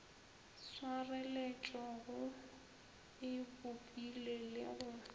swareletšego e bopile le go